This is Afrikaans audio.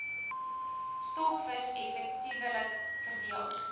stokvis effektiewelik verdeel